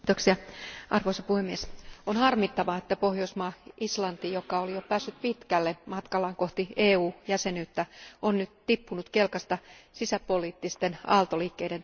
Arvoisa puhemies, on harmittavaa, että Pohjoismaa Islanti, joka oli jo päässyt pitkälle matkallaan kohti EU jäsenyyttä, on nyt tippunut kelkasta sisäpoliittisten aaltoliikkeiden takia.